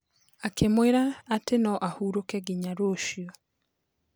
Akĩmwĩra atĩ no ahurũke nginya rũcio.